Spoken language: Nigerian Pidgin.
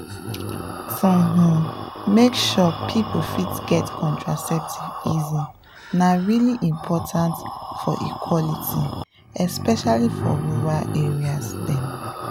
from um make sure people fit get contraceptive easy na really important for equality especially for rural areas dem.